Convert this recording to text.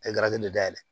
A ye garaze nin dayɛlɛ